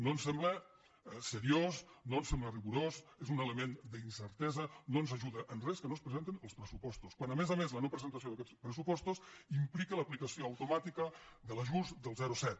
no ens sembla seriós no ens sembla rigorós és un element d’incertesa no ens ajuda en res que no es presenten els pressupostos quan a més a més la no presentació d’aquests pressupostos implica l’aplicació automàtica de l’ajust del zero coma set